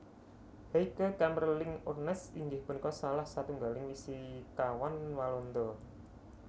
Heike Kamerlingh Onnes inggih punika salah satunggaling fisikawan Walanda